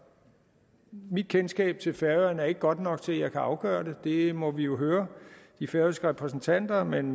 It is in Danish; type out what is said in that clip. mit kendskab til færøerne er ikke godt nok til at jeg kan afgøre det det må vi jo høre de færøske repræsentanter om men